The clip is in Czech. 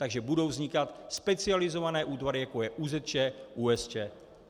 Takže budou vznikat specializované útvary, jako je ÚZČ, ÚSČ.